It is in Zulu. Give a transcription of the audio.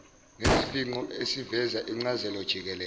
nesifingqo esiveza incazelojikelele